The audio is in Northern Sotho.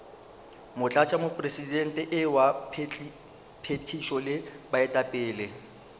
motlatšamopresidente wa phethišo le baetapele